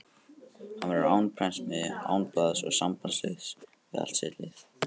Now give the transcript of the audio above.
Hann verður án prentsmiðju, án blaðs og sambandslaus við allt sitt lið.